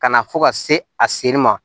Ka na fo ka se a sen ma